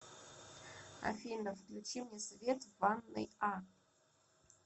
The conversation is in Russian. афина включи мне свет в ванной а